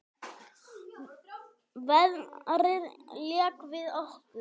Veðrið lék við okkur.